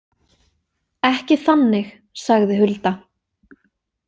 Ekki þannig, sagði Hulda.